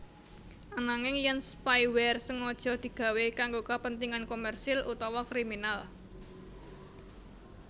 Ananging yèn spyware sengaja digawé kanggo kapentingan komersil utawa kriminal